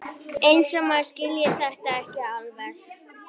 Eins og maður skilji þetta ekki alveg!